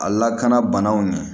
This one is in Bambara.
A lakana banaw ni